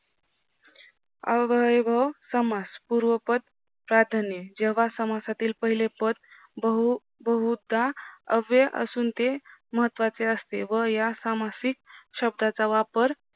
अव्ययभव समास पूर्वपद प्राधान्य जेव्हा समासातील पहिले पद बहू बहुता अव्यय असून ते महत्वाचे असते व या सामासिक शब्दाचा वापर